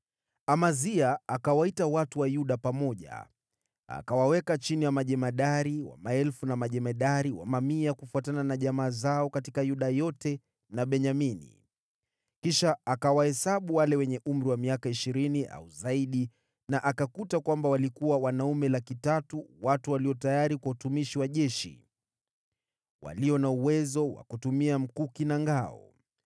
Amazia akawaita watu wa Yuda pamoja, akawaweka chini ya majemadari wa maelfu na majemadari wa mamia kufuatana na jamaa zao katika Yuda yote na Benyamini. Kisha akawahesabu wale wenye umri wa miaka ishirini au zaidi na akakuta kwamba walikuwa wanaume 300,000 watu walio tayari kwa utumishi wa jeshi, walio na uwezo wa kutumia mkuki na ngao.